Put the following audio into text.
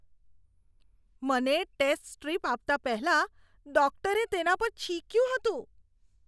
મને test strip આપતા પહેલા ડૉક્ટરે તેના પર છીંક્યું હતું.